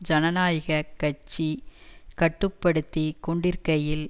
ஜனநாயக கட்சி கட்டு படுத்தி கொண்டிருக்கையில்